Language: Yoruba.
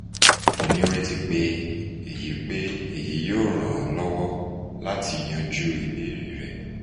mo nireti pe eyi pe eyi yoo ran ọ lọwọ lati yanju ibeere rẹ